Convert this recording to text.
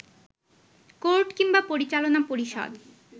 court কিংবা পরিচালনা পরিষদ